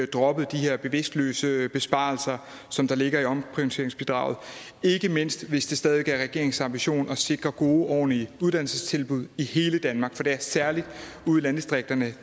dropper de her bevidstløse besparelser som der ligger i omprioriteringsbidraget ikke mindst hvis det stadig væk er regeringens ambition at sikre gode og ordentlige uddannelsestilbud i hele danmark for det er særligt ude i landdistrikterne at